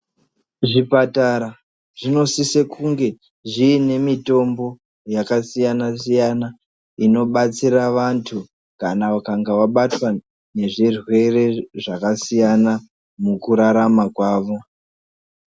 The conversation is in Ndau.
Zvipatara zvinosise kunge zviine mitombo yakasiyana-siyana. Inobatsira vantu kana vakanga vabatwa ngezvirwere zvakasiyana mukurarama kwavo.